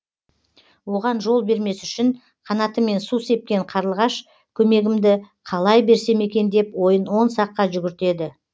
оған жол бермес үшін қанатымен су сепкен қарлығаш көмегімді қалай берсем екен деп ойын он саққа жүгіртеді